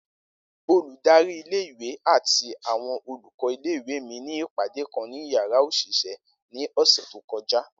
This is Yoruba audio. Oludari ìle- ìwe ati awọn olùkọ́ ìle-ìwe mi ni ipade kan ni yàrá oṣiṣẹ ni ọsẹ to kọja.